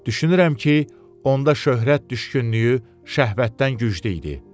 Düşünürəm ki, onda şöhrət düşkünlüyü şəhvətdən güclü idi.